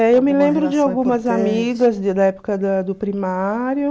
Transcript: É, eu me lembro de algumas amigas da época da do primário.